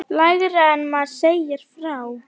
Lægra en maður segir frá.